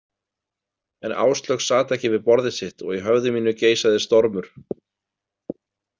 En Áslaug sat ekki við borðið sitt og í höfði mínu geisaði stormur.